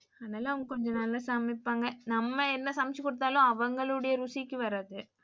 ஆனால அவங்க கொஞ்சம் நல்லா சமைப்பாங்க. நம்ம என்ன சமைச்சு கொடுத்தாலும் அவங்களுடைய ருசிக்கு வாராது.